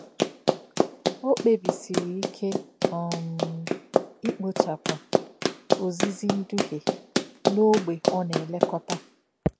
Ọ kpebísìrì íké um ikpochapụ “òzìzí ndúhie” a n’ógbè ọ na-elekọta.